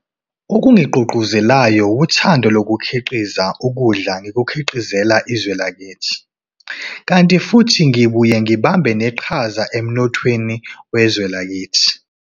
Okungigqugquzelayo wuthando lokukhiqiza ukudla ngikukhiqizela izwe lakithi, kanti futhi ngibuye ngibambe neqhaza emnothweni wezwe lakithi.